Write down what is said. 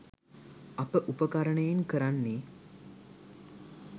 අප උපකරණයෙන් කරන්නේ